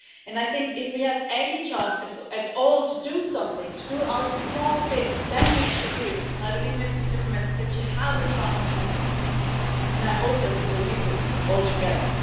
I think if we have any chance at all to do something, to do our small bit, then we should do it. I believe, Mr Timmermans, that you have a chance to do something and I hope that we will use it all together.